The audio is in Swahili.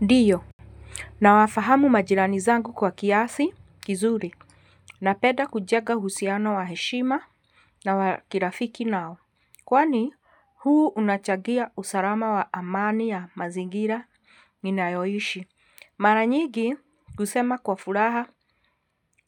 Ndiyo, nawafahamu majirani zangu kwa kiasi kizuri, napenda kujenga uhusiano wa heshima na wa kirafiki nao, kwani huu unachangia usalama wa amani ya mazingira ninayoishi, mara nyigi kusema kwa furaha